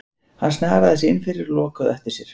Hann snaraði sér innfyrir og lokaði á eftir sér.